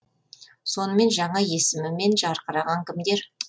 сонымен жаңа есімімен жарқыраған кімдер